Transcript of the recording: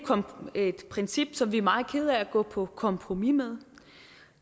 er et princip som vi er meget kede af at gå på kompromis med